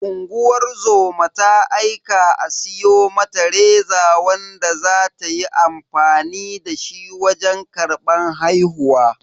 Unguwar zoma ta aika a siyo mata reza wanda za ta yi amfani dashi wajen karban haihuwa.